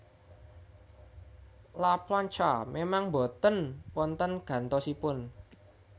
La Plancha memang mboten wonten gantosipun